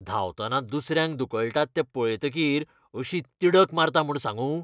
धांवतना दुसऱ्यांक धुकळटात तें पळयतकीर अशी तिडक मारता म्हूण सांगूं.